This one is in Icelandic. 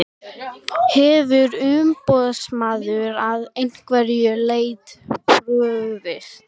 Hefur umboðsmaður að einhverju leyti brugðist?